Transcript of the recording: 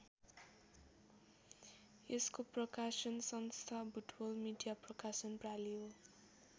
यसको प्रकाशन संस्था बुटवल मिडिया प्रकाशन प्रालि हो।